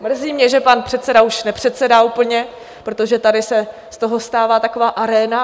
Mrzí mě, že pan předseda už nepředsedá úplně, protože tady se z toho stává taková aréna...